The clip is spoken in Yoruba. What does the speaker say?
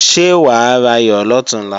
Ṣé wà á rayọ̀ lọ̀túnla?